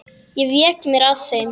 Ég vék mér að þeim.